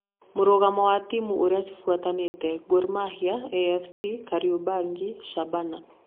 Mũrũgamo wa timũ ũrĩa cibũatanĩte:Gor Mahia, AFC, Kariobangi, Shabana.